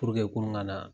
kurun ka na